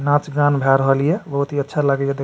नाज गान भेए रहल ये बहुत ही अच्छा लागे ये देख --